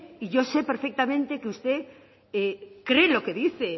y yo sé perfectamente que usted cree en lo que dice